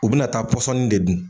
U bɛ na taa pɔsɔni de dun.